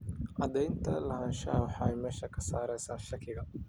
Cadaynta lahaanshaha waxay meesha ka saaraysaa shakiga.